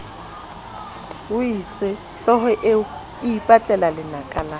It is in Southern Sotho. itsehlooho eo e ipatlelalenaka la